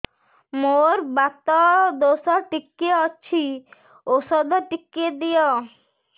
ମୋର୍ ବାତ ଦୋଷ ଟିକେ ଅଛି ଔଷଧ ଟିକେ ଦିଅ